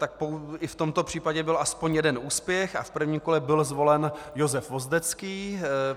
Tak i v tomto případě byl aspoň jeden úspěch a v prvním kole byl zvolen Josef Vozdecký.